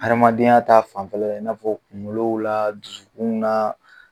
Hadamadenya ta fanfɛla la i n'a fɔ kuŋolow la dusukun na